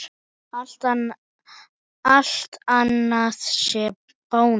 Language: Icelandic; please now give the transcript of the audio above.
Allt annað sé bónus?